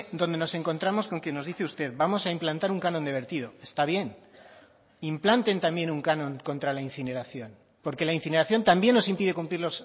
donde nos encontramos con quien nos dice usted vamos a implantar un canon de vertido está bien implanten también un canon contra la incineración porque la incineración también nos impide cumplir